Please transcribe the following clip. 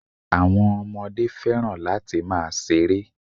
Àwọn ọmọdé fẹ́ràn láti máa ṣeré.